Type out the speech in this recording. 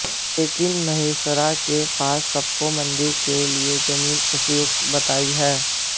लेकिन महेसरा के पास सबको मंदिर के लिए जमीन उपयुक्त बताई है